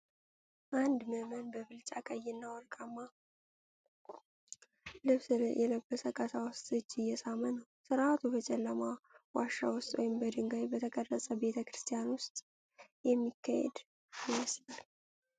አንድ ምዕመን በብልጫ ቀይና ወርቃማ ልብስ የለበሰ ቀሳውስት እጅ እየሳመ ነው። ሥርዓቱ በጨለማ ዋሻ ውስጥ ወይም በድንጋይ በተቀረጸ ቤተ ክርስቲያን ውስጥ የሚካሄድ ይመስላል።